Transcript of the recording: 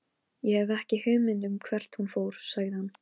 Um kvöldið opnar hún og allt er í lagi aftur.